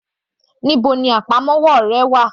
Níbo ni àpamọ́wọ́ rẹ wà?